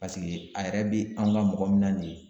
Paseke a yɛrɛ be an ga mɔgɔ min na nin ye